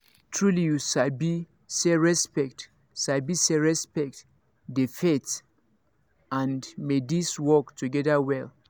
trulyyou sabi say respect sabi say respect dey faith and medice work together wella